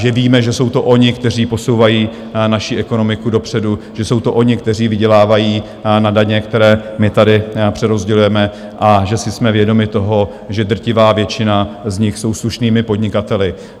Že víme, že jsou to oni, kteří posouvají naši ekonomiku dopředu, že jsou to oni, kteří vydělávají na daně, které my tady přerozdělujeme, a že jsme si vědomi toho, že drtivá většina z nich jsou slušnými podnikateli.